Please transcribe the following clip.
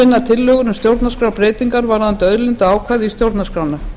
tillögur um stjórnarskrárbreytingar varðandi auðlindaákvæði í stjórnarskrána